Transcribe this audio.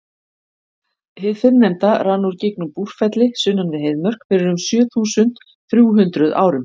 hið fyrrnefnda rann úr gígnum búrfelli sunnan við heiðmörk fyrir um sjö þúsund þrjú hundruð árum